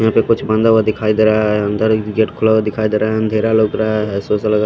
यहां पे कुछ बांधा हुआ दिखाई दे रहा है अंदर गेट खुला हुआ दिखाई दे रहा है अंधेरा लग रहा है ऐसे ऐसे लग रहा हैं।